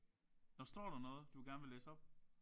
Og står der noget du gerne vil læse op?